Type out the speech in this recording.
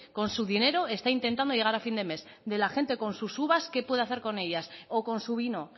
con su dinero está intentando llegar a fin de mes de la gente con sus uvas qué puede hacer con ellas o con su vino